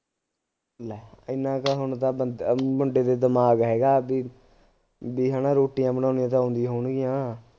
ਲੈ ਐਨਾ ਕੁ ਹੁਣ ਤਾਂ ਬੰਦਾ ਅ ਮੁੰਡੇ ਦੇ ਦਿਮਾਗ ਹੈਗਾ ਬਈ ਬਈ ਹੈ ਨਾ ਰੋਟੀਆਂ ਬਣਾਉਣੀਆਂ ਤਾਂ ਆਉਂਦੀਆਂ ਹੋਣਗੀਆਂ